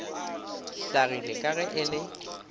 hlagile ka ge e le